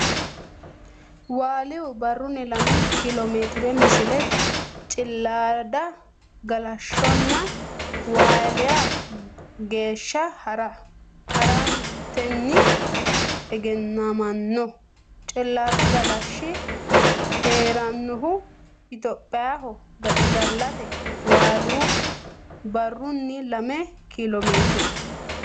Waaliyu barrunni lame kiilomeetire Misile Cilaada galashshonna Waaliya geeshsha ha ratenni egennamino Cilaadu Galashshi hee rannohu Itophiyaho gaxigalaati Waaliyu barrunni lame kiilomeetire.